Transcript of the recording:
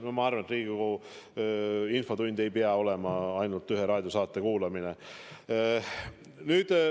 No ma arvan, et Riigikogu infotund ei pea olema ühe raadiosaate kuulamine.